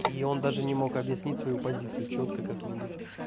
и он даже не мог объяснить свою позицию чётко как-нибудь